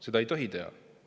Seda ei tohi teha.